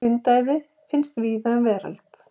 Hundaæði finnst víða um veröld.